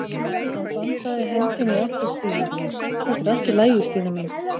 Hann bandaði hendinni í átt að Stínu: Þetta er allt í lagi Stína mín.